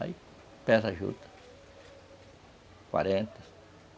Aí pesa a juta, quarenta